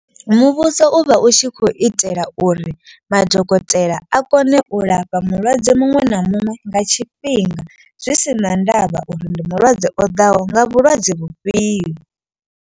Muvhuso u vha u tshi khou itela uri madokotela a kone u lafha mulwadze muṅwe na muṅwe. Nga tshifhinga zwi si na ndavha uri ndi mulwadze o ḓaho nga vhulwadze vhufhio.